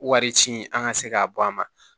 Wari ci an ka se k'a bɔ a ma